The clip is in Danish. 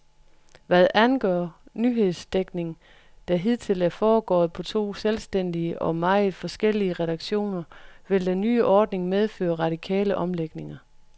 Hvad angår nyhedsdækningen, der hidtil er foregået på to selvstændige og meget forskellige redaktioner, vil den nye ordning medføre radikale omlægninger.